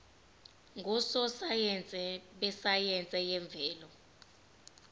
ngososayense besayense yemvelo